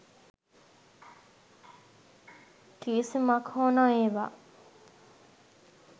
කිවිසුමක් හෝ නොඒවා.